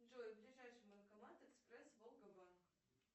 джой ближайший банкомат экспресс волга банк